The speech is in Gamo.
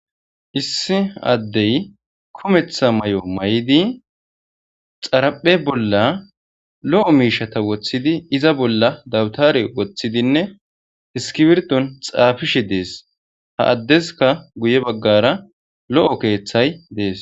Issa addey kuumeththa mayo maydinne xaraphphe bolla lo'o mishata wothidi iza bolla dabutare wothidine iskibirton xafishe des ha adeska guye bagara lo'o kethay des